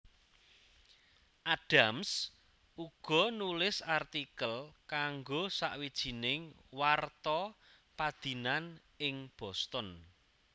Adams uga nulis artikel kanggo sawijining warta padinan ing Boston